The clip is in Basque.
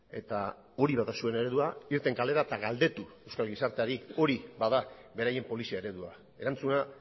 eta hori bada zuen eredua irten kalera eta galdetu euskal gizarteari hori bada beraien polizia eredua erantzuna